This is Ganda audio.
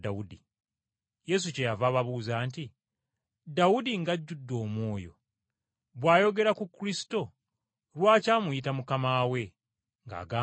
Yesu kyeyava ababuuza nti, “Dawudi ng’ajjudde Omwoyo bw’ayogera ku Kristo, lwaki ate amuyita ‘Mukama we’, ng’agamba nti,